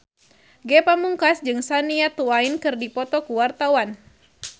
Ge Pamungkas jeung Shania Twain keur dipoto ku wartawan